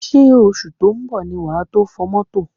Ṣé oṣù tó ń bọ̀ ni wà tó fọ̀ mọ́tò?